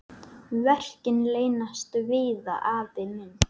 Verkin leynast víða, afi minn.